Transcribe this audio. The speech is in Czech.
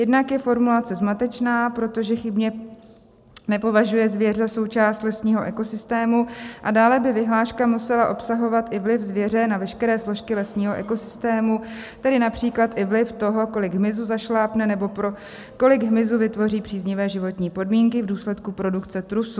Jednak je formulace zmatečná, protože chybně nepovažuje zvěř za součást lesního ekosystému, a dále by vyhláška musela obsahovat i vliv zvěře na veškeré složky lesního ekosystému, tedy například i vliv toho, kolik hmyzu zašlápne nebo pro kolik hmyzu vytvoří příznivé životní podmínky v důsledku produkce trusu.